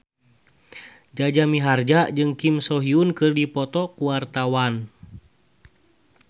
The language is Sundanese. Jaja Mihardja jeung Kim So Hyun keur dipoto ku wartawan